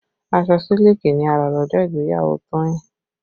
Aṣọ sílíkì ni a rà lọ́jọ́ ìgbéyàwó Toyin